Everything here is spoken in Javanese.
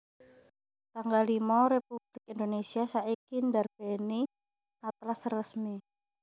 tanggal limo Republik Indonesia saiki ndarbèni Atlas Resmi